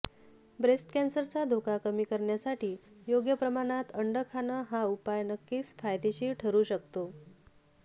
breast कॅन्सरचा धोका कमी करण्यासाठी योग्य प्रमाणात अंड खाणं हा उपाय नक्कीच फायदेशीर ठरू शकतो